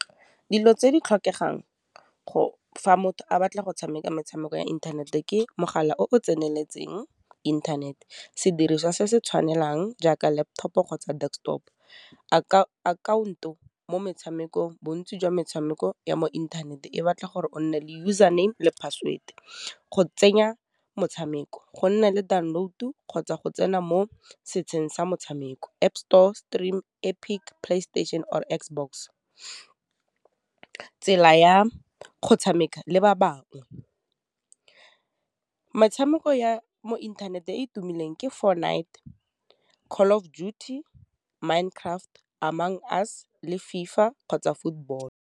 Dilo tse di tlhokegang fa motho a batla go tshameka metshameko ya inthanete ke, mogala o o tseneletseng inthanete, sediriswa se se tshwanelang jaaka laptop-o kgotsa desktop, akhaonto mo metshamekong, bontsi jwa metshameko ya mo inthaneteng e batla gore o nne le username le password, go tsenya motshameko, go nna le download-o, kgotsa go tsena mo setsheng sa motshameko, App store, stream, epic, playstation or xbox. Tsela ya go tshameka le ba bangwe, metshameko ya mo inthaneteng e e tumileng ke for night , Call of Duty, Mind Craft, Amongst us, le FIFA kgotsa football.